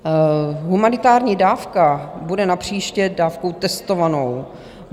Humanitární dávka bude napříště dávkou testovanou.